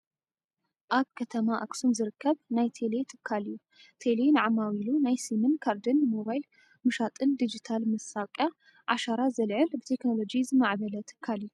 ኣብ ከተማ ኣክሱም ዝርከብ ናይ ቴሌ ትካል እዩ። ቴሌ ንዓማዊሉ ናይ ሲምን ካርድን ሞባይል ምሻጥን ድጅታል መስታወቅያ ዓሸራ ዘልዕል ብቴክኖሎጂ ዝማዕበለ ትካል እዩ።